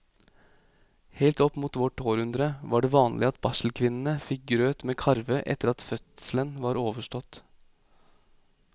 Helt opp mot vårt århundre var det vanlig at barselkvinnene fikk grøt med karve etter at fødselen var overstått.